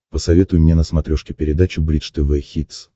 посоветуй мне на смотрешке передачу бридж тв хитс